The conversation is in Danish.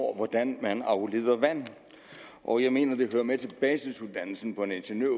hvordan man afleder vand og jeg mener at det hører med til basisuddannelsen af en ingeniør